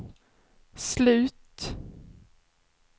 slut